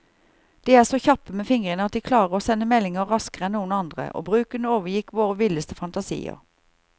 De er så kjappe med fingrene at de klarer å sende meldinger raskere enn noen andre, og bruken overgikk våre villeste fantasier.